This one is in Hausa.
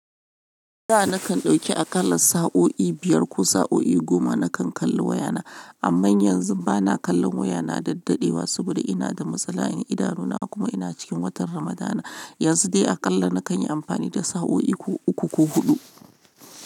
Da na kan dauki aƙalla sa'o'i biyar ko sa'o'i goma na kan kalli wayana. Amma yanzu ba na kallon waya na daddadewa saboda ina da matsala idanuna kuma ina cikin watan Ramadana. Yanzu dai aƙalla na kan yi amfani da sa'o'i uku ko huɗu.